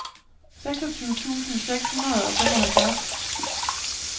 seksogtyve tusind seks hundrede og femoghalvfjerds